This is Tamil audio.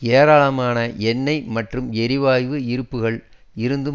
ஏராளமான எண்ணெய் மற்றும் எரிவாயு இருப்புக்கள் இருந்தும்